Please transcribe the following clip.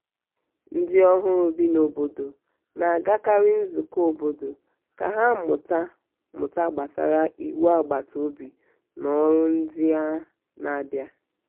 ndị ọhụrụ bi n' obodo na-agakarị nzukọ obodo ka ha mụta mụta gbasara iwu agbataobi na ọrụ ndị na-abia.